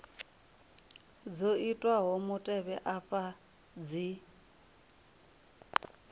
dzo itwaho mutevhe afha dzi